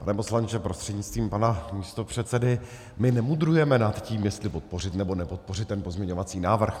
Pane poslanče prostřednictvím pana místopředsedy, my nemudrujeme nad tím, jestli podpořit, nebo nepodpořit ten pozměňovací návrh.